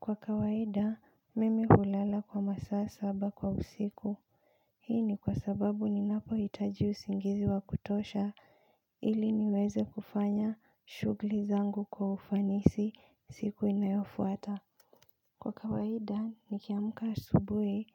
Kwa kawaida, mimi hulala kwa masaa saba kwa usiku, hii ni kwa sababu ninapohitaji usingizi wa kutosha ili niweze kufanya shugli zangu kwa ufanisi siku inayofuata. Kwa kawaida, nikiamka asubui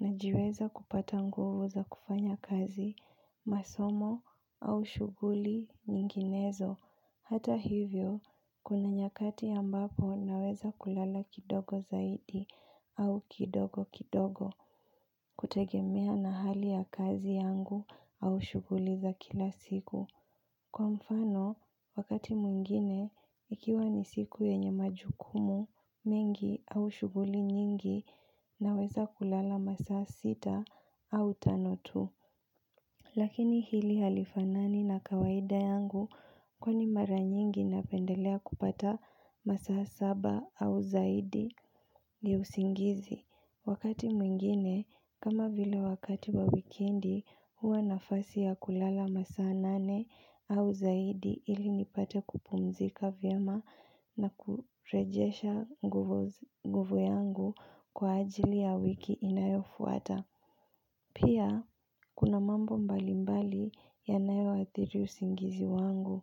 najiweza kupata nguvu za kufanya kazi masomo au shuguli nyinginezo. Hata hivyo, kuna nyakati ambapo naweza kulala kidogo zaidi au kidogo kidogo. Kutegemea na hali ya kazi yangu au shuguli za kila siku. Kwa mfano, wakati mwingine, ikiwa ni siku yenye majukumu mengi au shuguli nyingi naweza kulala masaa sita au tano tu. Lakini hili halifanani na kawaida yangu kwani mara nyingi napendelea kupata masaa saba au zaidi ya usingizi. Wakati mwingine, kama vile wakati wa wikendi, huwa nafasi ya kulala masaa nane au zaidi ili nipate kupumzika vyema na kurejesha nguvu yangu kwa ajili ya wiki inayofuata. Pia, kuna mambo mbalimbali yanayoathiri usingizi wangu.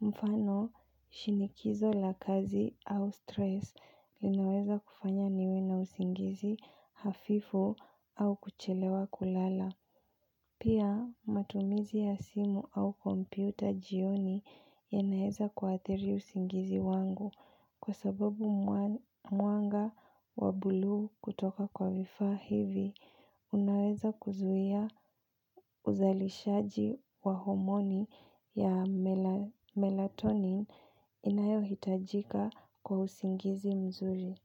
Mfano, shinikizo la kazi au stress linaweza kufanya niwe na usingizi hafifu au kuchelewa kulala. Pia matumizi ya simu au kompyuta jioni yanaeza kuathiri usingizi wangu kwa sababu mwanga wa buluu kutoka kwa vifaa hivi unaweza kuzuia uzalishaji wa homoni ya melatonin inayohitajika kwa usingizi mzuri.